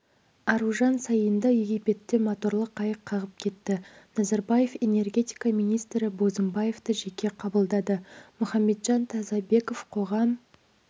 аружан саинды египетте моторлы қайық қағып кетті назарбаев энергетика министрі бозымбаевты жеке қабылдады мұхамеджан тазабеков қоғам